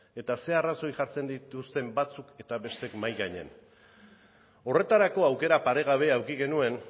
eta ze arrazoi jartzen dituzten batzuk eta besteek mahai gainean horretarako aukera paregabea eduki genuen